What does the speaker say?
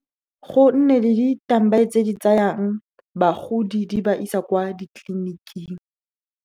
Go nne le tse di tsayang bagodi, di ba isa kwa ditleliniking.